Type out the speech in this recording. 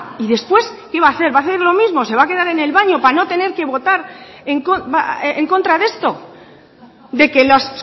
y después qué va a hacer va a hacer lo mismo se va a quedar en el baño para no tener que votar en contra de esto de que los